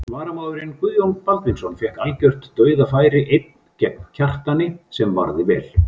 Varamaðurinn Guðjón Baldvinsson fékk algjört dauðafæri einn gegn Kjartani sem varði vel.